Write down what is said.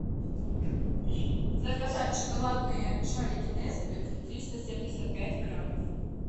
заказать шоколадные шарики несквик триста семьдесят пять граммов